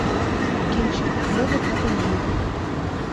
кинчик легок на помине